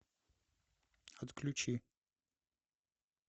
отключи